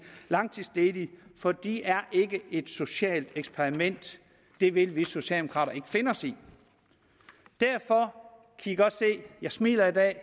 langtidsledige for de er ikke et socialt eksperiment det vil vi socialdemokrater ikke finde os i derfor smiler jeg i dag